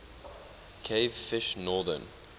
cavefish northern